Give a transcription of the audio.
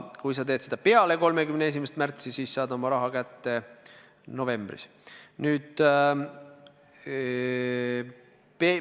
Kui sa teed seda peale 31. märtsi, siis saad oma raha kätte novembris.